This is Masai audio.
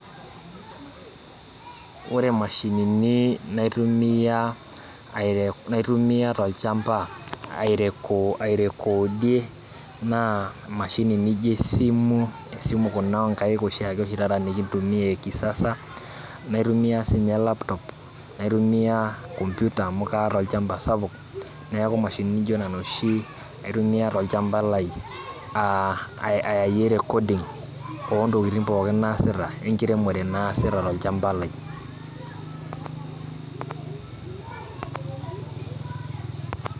Ore mashinini naitumia aire, naitumia tolchamba ai recodie naa mashini nijo esimu kuna oshiake onkaik nikintumia ekisasa naitumia sininye laptop naitumia kompyuta amu kaata olchamba sapuk neaku mashinini nijo nona oshi aitumia tolchamba lai ayayie recordings ontokitin pookin naasita wenkiremore naasita tolchamba lai[break]